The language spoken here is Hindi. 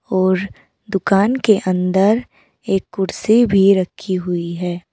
और दुकान के अंदर एक कुर्सी भी रखी हुई है।